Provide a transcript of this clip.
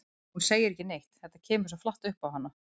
Hún segir ekki neitt, þetta kemur svo flatt upp á hana.